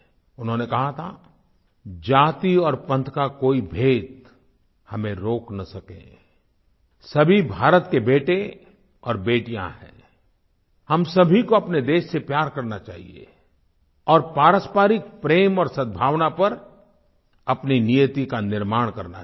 उन्होंने कहा था जाति और पंथ का कोई भेद हमें रोक न सके सभी भारत के बेटे और बेटियाँ हैं हम सभी को अपने देश से प्यार करना चाहिए और पारस्परिक प्रेम और सद्भावना पर अपनी नियति का निर्माण करना चाहिए